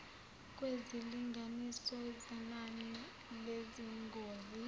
kwezilinganiso zenani lezingozi